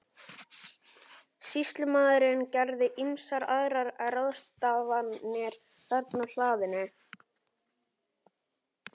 Sýslumaður gerði ýmsar aðrar ráðstafanir þarna á hlaðinu.